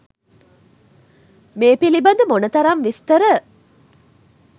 මේ පිළිබඳ මොනතරම් විස්තර